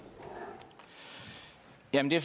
ja vi